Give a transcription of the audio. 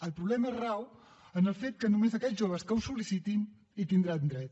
el problema rau en el fet que només aquells joves que ho sol·licitin hi tindran dret